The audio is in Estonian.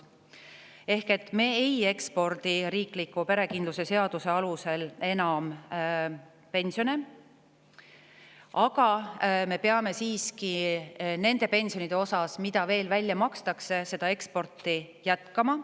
Ehk me ei ekspordi riikliku pensionikindluse seaduse alusel enam pensione, aga me peame siiski veel väljamakstavate pensionide puhul sellist eksporti jätkama.